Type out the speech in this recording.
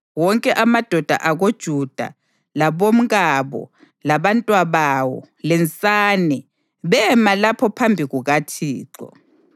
Wonke amadoda akoJuda, labomkabo labantwabawo lensane, bema lapho phambi kukaThixo.